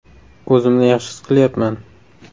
“O‘zimni yaxshi his qilyapman.